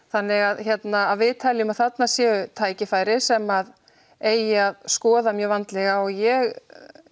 þannig að við teljum að þarna séu tækifæri sem eigi að skoða mjög vandlega og ég